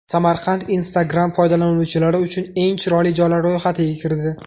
Samarqand Instagram foydalanuvchilari uchun eng chiroyli joylar ro‘yxatiga kirdi.